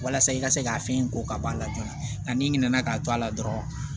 Walasa i ka se ka fɛn in ko ka ban a la joona nka n'i ɲinɛna k'a to a la dɔrɔn